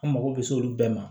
An mago bɛ se olu bɛɛ ma